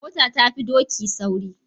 Mota ta fi doki sauri.